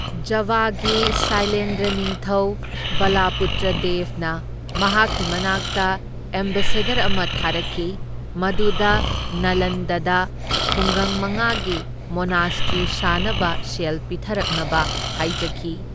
ꯖꯚꯒꯤ ꯁꯥꯏꯂꯦꯟꯗ꯭ꯔꯥ ꯅꯤꯡꯊꯧ ꯕꯂꯄꯨꯇ꯭ꯔꯥꯗꯦꯚꯅ ꯃꯍꯥꯛꯀꯤ ꯃꯅꯥꯛꯇ ꯑꯦꯝꯕꯦꯁꯦꯗꯔ ꯑꯃ ꯊꯥꯔꯛꯈꯤ, ꯃꯗꯨꯗ ꯅꯂꯟꯗꯗ ꯈꯨꯡꯒꯪ ꯃꯉꯥꯒꯤ ꯃꯣꯅꯥꯁꯇ꯭ꯔꯤ ꯁꯥꯅꯕ ꯁꯦꯜ ꯄꯤꯊꯔꯛꯅꯕ ꯍꯥꯏꯖꯈꯤ꯫